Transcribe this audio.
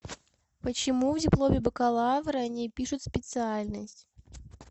почему в дипломе бакалавра не пишут специальность